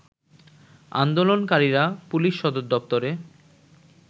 আন্দোলনকারীরা পুলিশ সদরদপ্তরে